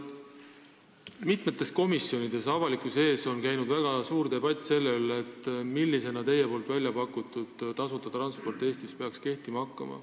Mitmetes komisjonides ja avalikkuse ees on käinud väga suur debatt selle üle, millisel kujul peaks teie välja pakutud tasuta transport Eestis kehtima hakkama.